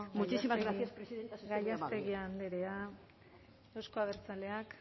muchísimas gracias presidenta ha sido muy amable eskerrik asko gallástegui andrea euzko abertzaleak